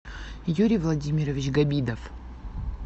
юрий владимирович габидов